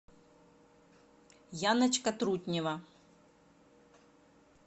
яночка трутнева